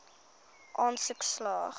aansoek slaag